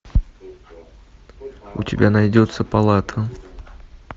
у тебя найдется палата